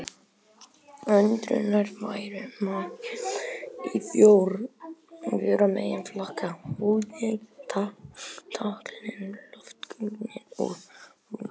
Öndunarfærum má skipta í fjóra meginflokka: húð, tálkn, loftgöng og lungu.